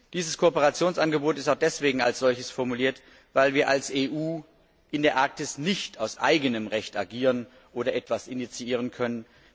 Dieses Kooperationsangebot ist auch deswegen als solches formuliert, weil wir als EU in der Arktis nicht aus eigenem Recht agieren oder etwas initiieren können.